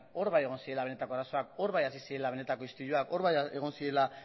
hor bai egon zirela benetako arazoak hor bai hasi zirela benetako istiluak hor bai egon zirela